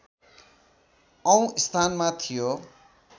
औँ स्थानमा थियो